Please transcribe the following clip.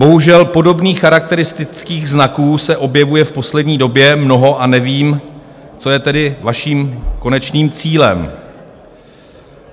Bohužel, podobných charakteristických znaků se objevuje v poslední době mnoho a nevím, co je tedy vaším konečným cílem.